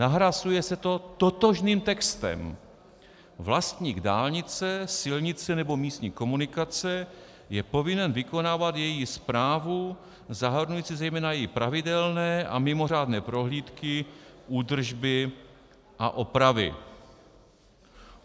Nahrazuje se to totožným textem: "Vlastník dálnice, silnice nebo místní komunikace je povinen vykonávat její správu zahrnující zejména její pravidelné a mimořádné prohlídky, údržby a opravy."